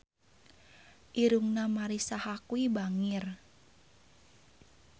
Irungna Marisa Haque bangir